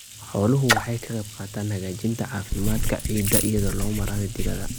Xooluhu waxay ka qaybqaataan hagaajinta caafimaadka ciidda iyadoo loo marayo digada.